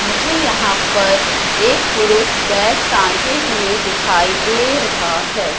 मुझे यहां पर एक पुरुष बैग टंगे हुए दिखाई दे रहा है।